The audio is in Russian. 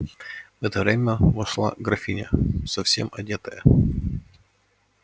в это время вошла графиня совсем одетая